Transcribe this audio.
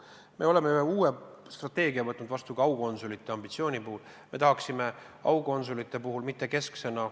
Me oleme heaks kiitnud ka uue aukonsulite tööd puudutava strateegia.